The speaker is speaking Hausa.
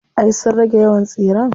Ay sun rage yawan tsiren.